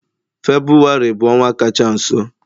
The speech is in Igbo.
Febụwarị bụ ọnwa kacha nso.